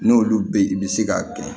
N'olu be ye i be se k'a gɛn